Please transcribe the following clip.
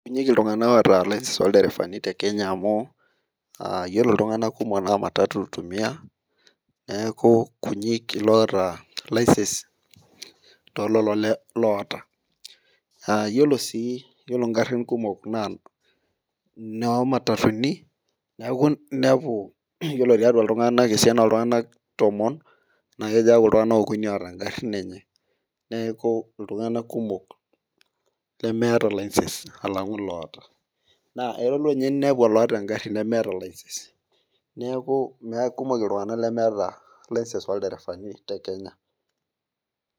Kunyik iltung'anak oota license olderefani te kenya amu uh yiolo iltung'anak kumok naa matatu itumia neeku kunyik iloota license tololo loota uh yiolo sii yiolo ingarrin kumok naa inoo matatuni neeku inepu yiolo tiatua iltung'anak esiana oltung'anak tomon naa kejo aaku iltung'anak okuni oota ingarrin enye neeku iltung'anak kumok lemeeta license alang'u iloota naa aelo ninye ninepu oloota engarri nemeeta license neeku kumok iltung'anak lemeeta license olderefani te kenya.